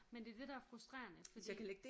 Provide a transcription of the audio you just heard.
Men det er det der er frustrerende fordi